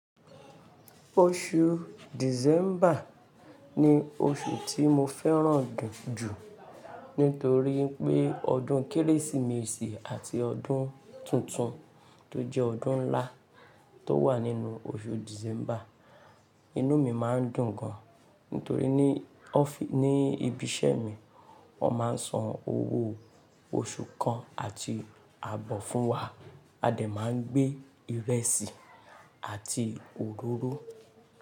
Oṣù December ni oṣù tí mo fẹ́ràn jù nítorí pé ọdún Kérésìmesì àti ọdún tuntun tó jẹ́ ọdún ńlá tó wà nínú oṣù December. Inú mi máa ń dùn gan nítorí ní, ní ibi iṣẹ́ mi wọ́n máa ń san owó oṣù kan àti abọ́ fún wa. A dẹ̀ máa ń gbé ìrẹsì àti òróró.